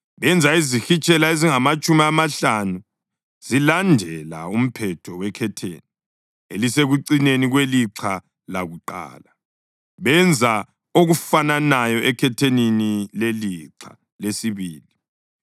Benza izihitshela ezingamatshumi amahlanu zilandela umphetho wekhetheni elisekucineni kwelixha lakuqala, benza okufananayo ekhethenini lelixha lesibili.